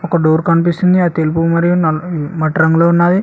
ఒక డోర్ కనిపిస్తుంది అది తెలుపు మరియు నల్ మ్మ్ మట్టి రంగులో ఉన్నవి